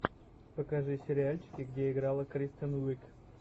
покажи сериальчики где играла кристен уиг